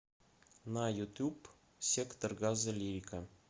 на ютуб сектор газа лирика